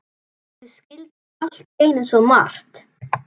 Ég skildi allt í einu svo margt.